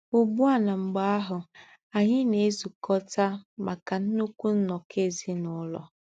Ugbu a na mgbe ahụ, anyị na-ezukọta maka nnukwu nnọkọ ezinụlọ.